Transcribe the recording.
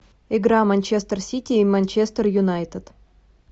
игра манчестер сити и манчестер юнайтед